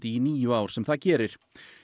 í níu ár sem það gerir